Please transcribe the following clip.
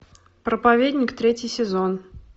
проповедник третий сезон